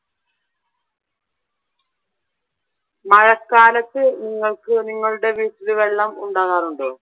മഴക്കാലത്ത് നിങ്ങൾക്ക് നിങ്ങളുടെ വീട്ടിൽ വെള്ളം ഉണ്ടാകാറുണ്ടോ?